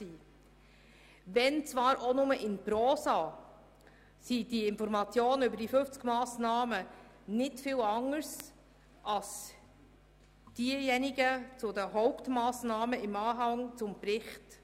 Auch wenn sie lediglich in Prosa gehalten sind, unterscheiden sich die Informationen über diese 50 Massnahmen nicht stark von denjenigen zu den Hauptmassnahmen im Anhang zum Bericht.